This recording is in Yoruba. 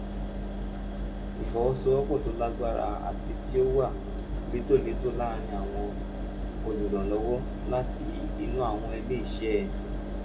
ìfọ̀sowọ́sowọ́pọ̀ tó lágbára àti tí ó wà létòlétò láàárín àwọn olùrànlọ́wọ́ láti inú àwọn ilé iṣẹ́